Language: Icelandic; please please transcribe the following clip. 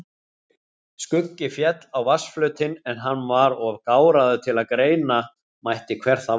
Skuggi féll á vatnsflötinn en hann var of gáraður til greina mætti hver það var.